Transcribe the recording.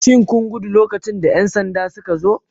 Shin kun gudu lokacin da 'yan sanda suka zo?